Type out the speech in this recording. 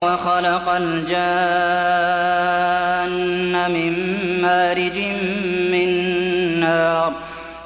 وَخَلَقَ الْجَانَّ مِن مَّارِجٍ مِّن نَّارٍ